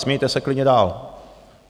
Smějte se klidně dál.